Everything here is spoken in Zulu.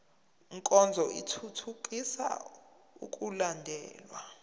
nkonzo ithuthukisa ukulandelwa